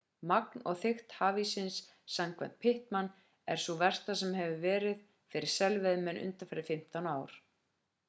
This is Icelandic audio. magn og þykkt hafíssins samkvæmt pittman er sú versta sem verið hefur fyrir selveiðimenn undanfarin 15 ár